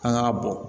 An k'a bɔn